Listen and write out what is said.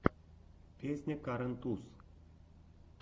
песня карен туз